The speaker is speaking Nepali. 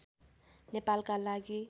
नेपालका लागि